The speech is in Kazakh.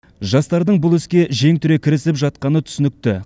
жастардың бұл іске жең түре кірісіп жатқаны түсінікті